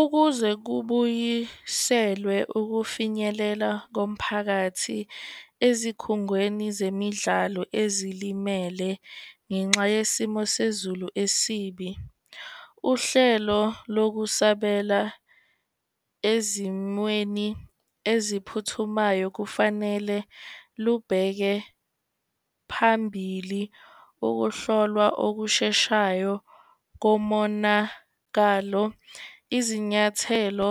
Ukuze kubuyiselwe ukufinyelela komphakathi ezikhungweni zemidlalo ezilimele ngenxa yesimo sezulu esibi, uhlelo lokusabela ezimweni eziphuthumayo kufanele lubheke phambili ukuhlolwa okusheshayo komonakalo. Izinyathelo